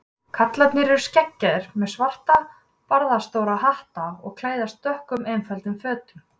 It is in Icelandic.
Karlarnir eru skeggjaðir, með svarta barðastóra hatta og klæðast dökkum, einföldum fötum.